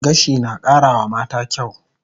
Gashi na kara wa mata kyaw